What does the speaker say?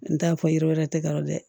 N t'a fɔ yiri wɛrɛ tɛ gara dɛ